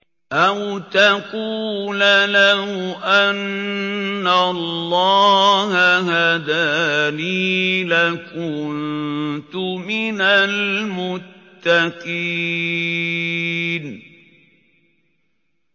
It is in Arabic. أَوْ تَقُولَ لَوْ أَنَّ اللَّهَ هَدَانِي لَكُنتُ مِنَ الْمُتَّقِينَ